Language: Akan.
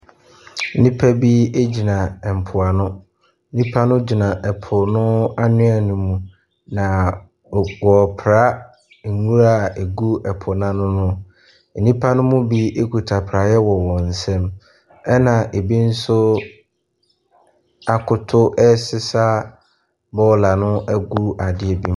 Nnipa bi gyina mpoano, nnipa no gyina mpoano anwea ne mu. Na wɔrepra nwura a ɛgu po n’ano no. nnipa ne bi kita praeɛ wɔ wɔn nsa mu na bi akoto ɛresesa bɔɔla no ɛregu adeɛ mu.